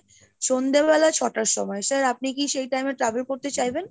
সন্ধ্যেবেলা ছটার সময় Sir আপনি কি সেই time এ travel করতে চাইবেন?